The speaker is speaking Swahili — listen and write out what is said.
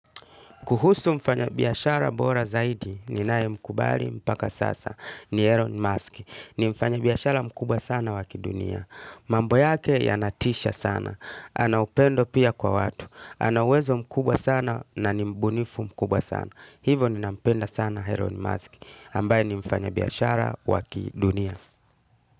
Kuhusu mfanyabiashara bora zaidi ninae mkubali mpaka sasa ni Elon Musk. Ni mfanyabiashara mkubwa sana wa kidunia. Mambo yake yanatisha sana. Anaupendo pia kwa watu. Ana uwezo mkubwa sana na ni mbunifu mkubwa sana. Hivo ninampenda sana Elon Musk. Ambaye ni mfanyabiashara wa kidunia.